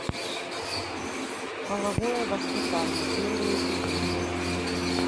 половое воспитание первый эпизод